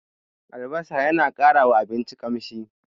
Albasa yana ƙarawa abinci ƙamshi.